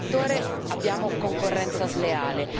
qualunque settore abbiamo concorrenza sleale.